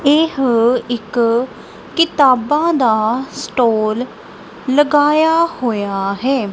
ਇਹ ਇੱਕ ਕਿਤਾਬਾਂ ਦਾ ਸਟੋਰ ਲਗਾਇਆ ਹੋਇਆ ਹੈ।